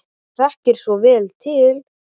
Hann þekkir svo vel til.